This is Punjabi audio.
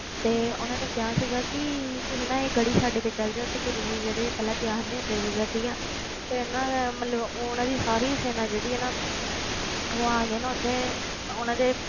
ਤੇ ਉਹਨਾਂ ਨੇ ਕਿਹਾ ਸੀਗਾ ਕਿ ਤੁਸੀਂ ਨਾ ਇਹ ਗੜੀ ਛੱਡ ਕੇ ਚਲੇ ਜਾਓ, ਤੇ ਗੁਰੂ ਜੀ ਜਿਹੜੇ ਪਹਿਲਾਂ ਤਿਆਰ ਨਹੀਂ ਹੁੰਦੇ ਸੀਗੇ ਠੀਕ ਹੈ ਫਿਰ ਨਾ ਮਤਲਬ ਉਹਨਾਂ ਦੀ ਸਾਰੀ ਸੈਨਾ ਜਿਹੜੀ ਹੈ ਨਾ ਉਹ ਆ ਕੇ ਨਾ ਉੱਥੇ ਉਹਨਾਂ ਦੇ,